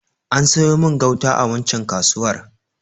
An sayo min gauta a waccan kasuwar.